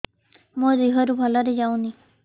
ମୋ ଦିହରୁ ଭଲରେ ଯାଉନି